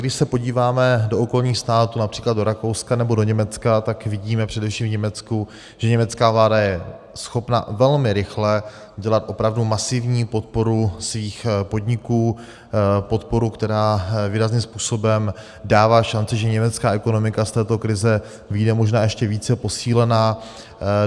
Když se podíváme do okolních států, například do Rakouska nebo do Německa, tak vidíme především v Německu, že německá vláda je schopna velmi rychle dělat opravdu masivní podporu svých podniků, podporu, která výrazným způsobem dává šanci, že německá ekonomika z této krize vyjde možná ještě více posílena.